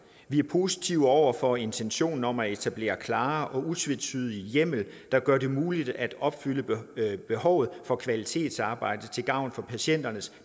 vi er positive over for intentionen om at etablere klar og utvetydig hjemmel der gør det muligt at opfylde behovet for kvalitetsarbejde til gavn for patienternes